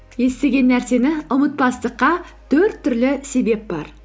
естіген нәрсені ұмытпастыққа төрт түрлі себеп бар